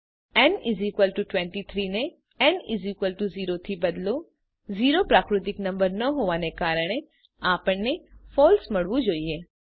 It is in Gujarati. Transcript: ન 23 ને ન 0 થી બદલો 0 પ્રાકૃતિક નંબર ન હોવાને કારણે આપણને ફળસે મળવું જોઈએ